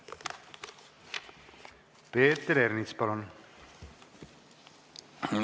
Peeter Ernits, palun!